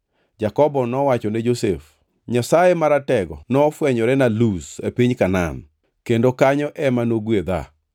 Jakobo nowacho ne Josef, “Nyasaye Maratego nofwenyorena Luz e piny Kanaan, kendo kanyo ema nogwedha.